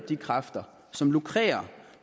de kræfter som lukrerer